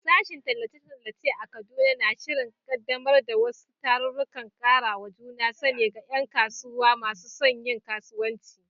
Sashen Tallace-tallace a Kaduna na shirin kaddamar da wasu tarurrukan karawa juna sani ga ’yan kasuwa masu son yin kasuwanci.